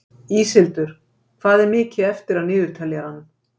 Íshildur, hvað er mikið eftir af niðurteljaranum?